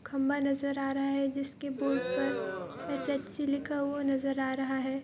खम्भा नजर आ रहा है जिसके बोर्ड पर एस.एच.सी. लिखा हुआ नजर आ रहा है।